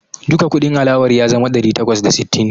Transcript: Duka kudin alawar ya zama ɗari takwas da sittin.